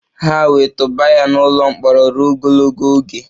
Ha wee tụba ya n' ụlọ mkpọrọ ruo ogologo oge.